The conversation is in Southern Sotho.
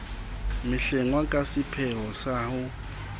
mehlengwa ka seipheo sa ho